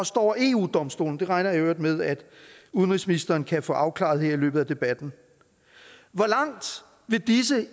står over eu domstolen det regner jeg i øvrigt med at udenrigsministeren kan få afklaret her i løbet af debatten hvor langt vil disse